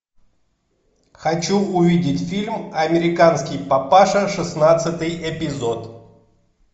хочу увидеть фильм американский папаша шестнадцатый эпизод